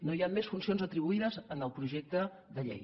no hi ha més funcions atribuïdes en el projecte de llei